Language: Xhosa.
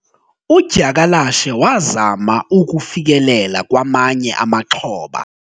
udyakalashe wazama ukufikelela kwamanye amaxhoba